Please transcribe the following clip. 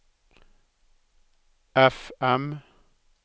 FM